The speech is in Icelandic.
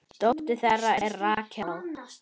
Dóttir þeirra er Rakel.